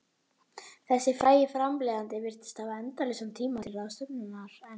Þessi frægi framleiðandi virtist hafa endalausan tíma til ráðstöfunar, en